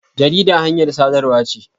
Jarida hanyar sadarwa ce.